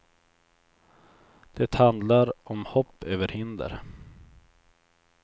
Det handlar om hopp över hinder.